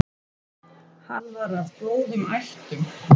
Hann var af góðum ættum.